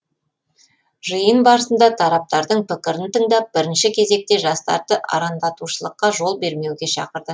жиын барысында тараптардың пікірін тыңдап бірінші кезекте жастарды арандатушылыққа жол бермеуге шақырды